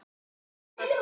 Þetta var of tæpt.